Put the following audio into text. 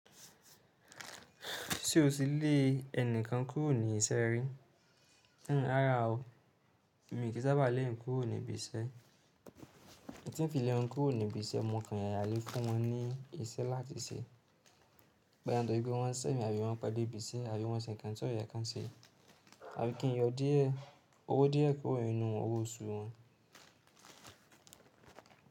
Ṣé o ti lé ẹni kan kúrò ní isẹ́ rí? Rárá o, èmi kì í sábà lé èèyàn kúrò ní ibi isẹ́. N tí n fi lé wọn kúrò ní ibi isẹ́, mo kan yàra lé fún wọn ní isẹ́ láti se. Bóyá ntoripe wọn sẹ́mi àbí wọn pẹ dé ibi isẹ́, àbí wọn se nǹkan tí o yẹ kan se, àbí kí n yọ díẹ̀ owó díẹ̀ kúrò nínú owó osù wọn.